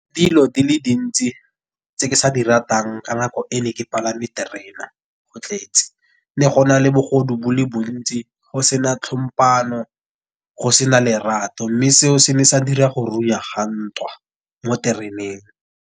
Dilo di le dintsi tse ke sa di ratang ka nako e ne ke palame terena go tletse. Ne go na le bogodu bo le bontsi, go sena tlhompano, go se na lerato. Mme seo se ne sa dira go ga ntwa mo tereneng.